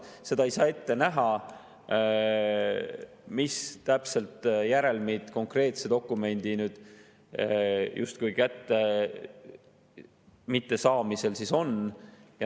Seda ei saa ette näha, mis täpsed järelmid konkreetse dokumendi justkui mitte kättesaamisel on.